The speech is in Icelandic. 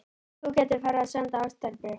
Þú gætir farið að senda ástarbréf.